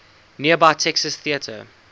nearby texas theater